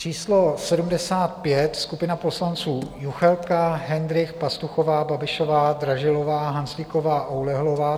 Číslo 75, skupina poslanců: Juchelka, Hendrych, Pastuchová, Babišová, Dražilová, Hanzlíková, Oulehlová.